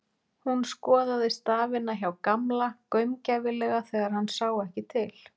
Hún skoðaði stafina hjá Gamla gaumgæfilega þegar hann sá ekki til.